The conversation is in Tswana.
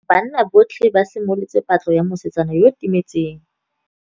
Banna botlhê ba simolotse patlô ya mosetsana yo o timetseng.